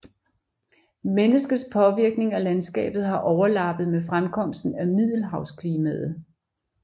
Menneskets påvirkning af landskabet har overlappet med fremkomsten af middelhavsklimaet